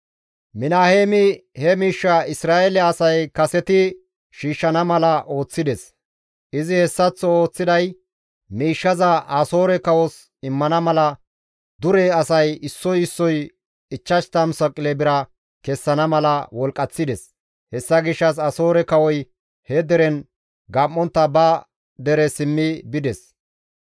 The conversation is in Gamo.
Minaheemi he miishshaa Isra7eele asay kesetti shiishshana mala ooththides; izi hessaththo ooththiday miishshaza Asoore kawos immana mala dure asay issoy issoy 50 saqile bira kessana mala wolqqaththides; hessa gishshas Asoore kawoy he deren gam7ontta ba dere simmi bides.